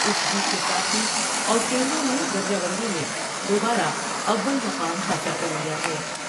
اس جیت کے ساتھ ہی آسٹریلیاء نے درجہ بندی میں دو با رہ اول مقام حاصل کر لیا ہے ۔